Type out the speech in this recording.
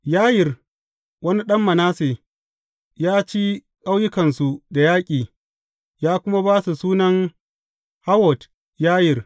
Yayir, wani ɗan Manasse, ya ci ƙauyukansu da yaƙi, ya kuma ba su sunan Hawwot Yayir.